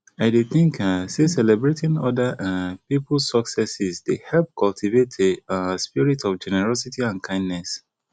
i dey think um say celebrating other um peoples successes dey help cultivate a um spirit of generosity and kindness